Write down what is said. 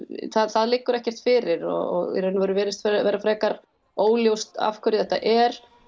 það liggur ekkert fyrir og í raun og veru virðist vera frekar óljóst af hverju þetta er